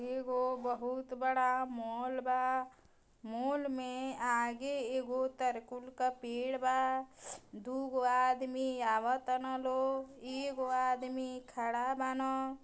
एगो बहुत बड़ा मॉल बा मॉल में आगे एगो तरकुल के पेड़ बा दुगो आदमी आव तन लोग एगो आदमी खड़ा बान।